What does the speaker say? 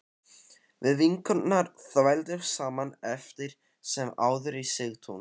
Við vinkonurnar þvældumst saman eftir sem áður í Sigtún